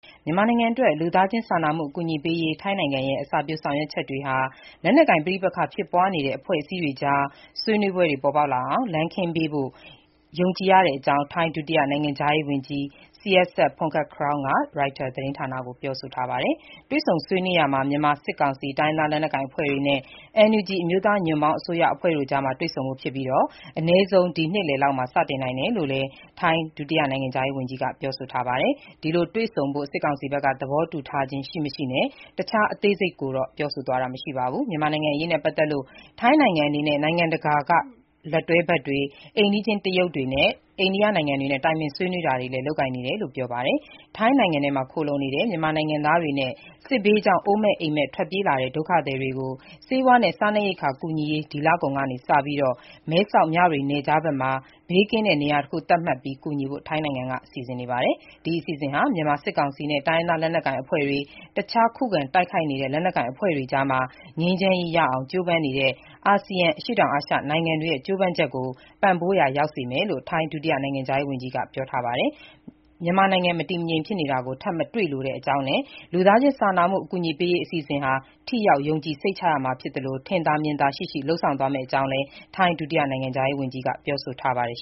မြန်မာနိုင်ငံအတွက် လူသားချင်းစာနာမှု အကူအညီပေးရေး ထိုင်းနိုင်ငံရဲ့ အစပျိုးဆောင်ရွက်ချက်တွေဟာ လက်နက်ကိုင် ပဋိပက္ခဖြစ်ပွားနေတဲ့ အဖွဲ့အစည်းတွေကြား ဆွေးနွေးပွဲတွေ ပေါ်ပေါက်လာအောင် လမ်းခင်းပေးရာရောက်ဖို့ ယုံကြည်တဲ့အကြောင်း ထိုင်း ဒုတိယ နိုင်ငံခြားရေးဝန်ကြီး Sihasak Phuangketkeow က ရိုက်တာ သတင်းဌာနကို ပြောဆိုပါတယ်။ တွေ့ဆုံဆွေးနွေးရာမှာ မြန်မာစစ်ကောင်စီ၊ တိုင်းရင်းသားလက်နက်ကိုင်အဖွဲ့တွေနဲ့ NUG အမျိုးသားညီညွတ်ရေးအစိုးရတို့ အကြား တွေ့ဆုံဖို့ဖြစ်ပြီး အနည်းဆုံး ဒီနှစ်လယ်လောက်မှာ စတင်နိုင်တယ်လို့လည်း ထိုင်း ဒုတိယနိုင်ငံခြားရေးဝန်ကြီးက ပြောပါတယ်။ ဒီလို တွေ့ဆုံဖို့ စစ်ကောင်စီဘက်က သဘောတူထားခြင်းရှိမရှိနဲ့ တခြား အသေးစိတ်ကိုတော့ ပြောဆိုသွားခြင်း မရှိပါဘူး။ မြန်မာနိုင်ငံအရေးနဲ့ ပတ်သက်လို့ ထိုင်းနိုင်ငံအနေနဲ့ နိုင်ငံတကာ လက်တွဲဘက်တွေ၊ အိမ်နီချင်း တရုတ်နဲ့ အိန္ဒိယနိုင်ငံတွေနဲ့ တိုင်ပင်ဆွေးနွေး လုပ်ကိုင်နေတယ်လို့လည်း ပြောပါတယ်။ ထိုင်းနိုင်ငံထဲမှာ ခိုလှုံနေတဲ့ မြန်မာနိုင်ငံသားတွေနဲ့ စစ်ဘေးကြောင့် အိုးမဲ့အိမ့်မဲ့ ထွက်ပြေးလာတဲ့ ဒုက္ခသည်တွေကို ဆေးဝါးနဲ့ စားနပ်ရိက္ခာ ကူညီရေး ဒီလကုန်က စပြီး မဲဆောက်မြဝတီနယ်ခြားမှာ ဘေးကင်းတဲ့ နေရာတခု သတ်မှတ်ပြီး ကူညီဖို့ ထိုင်းနိုင်ငံက စီစဉ်နေပါတယ်။ ဒီအစီအစဉ်ဟာ မြန်မာစစ်ကောင်စီနဲ့ တိုင်းရင်းသားလက်နက်ကိုင်အဖွဲ့တွေ၊ တခြား ခုခံတိုက်နေတဲ့ လက်နက်ကိုင်အဖွဲ့တွေအကြား ငြိမ်းချမ်းရေးရအောင် ကြိုးပမ်းနေတဲ့ အာဆီယံ အရှေ့တောင်အာရှနိုင်ငံတွေရဲ့ ကြိုးပမ်းချက်ကို ပံ့ပိုးရာရောက်စေမယ်လို့ ထိုင်း ဒုတိယ နိုင်ငံခြားရေးဝန်ကြီးက ပြောပါတယ်။ မြန်မာနိုင်ငံ မတည်မငြိမ် ဖြစ်တာကို ထပ်မတွေ့လိုတဲ့အကြောင်းနဲ့ လူသားချင်းစာနာမှု အကူအညီပေးရေး အစီအစဉ်ဟာ ထိရောက်၊ ယုံကြည်စိတ်ချရမှာ ဖြစ်သလို ထင်သာမြင်သာ ရှိရှိ လုပ်ဆောင်သွားမဲ့အကြောင်းလည်း ထိုင်း ဒုတိယနိုင်ငံခြားရေးဝန်ကြီးက ပြောဆိုပါတယ်